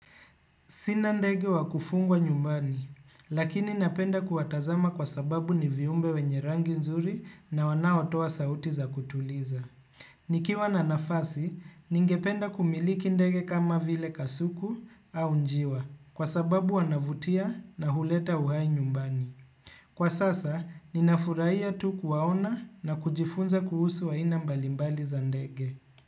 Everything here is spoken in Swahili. Sina ndege wa kufungwa nyumbani, lakini napenda kuwatazama kwa sababu ni viumbe wenye rangi nzuri na wanaotoa sauti za kutuliza. Nikiwa na nafasi, ningependa kumiliki ndege kama vile kasuku au njiwa, kwa sababu wanavutia na huleta uhai nyumbani. Kwa sasa, ninafurahia tu kuwaona na kujifunza kuhusu aina mbalimbali za ndege.